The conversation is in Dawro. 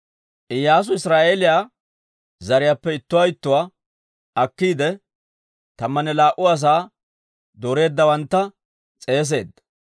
Iyyaasu Israa'eeliyaa zariyaappe ittuwaa ittuwaa akkiide, tammanne laa"u asaa dooreeddawantta s'eeseedda.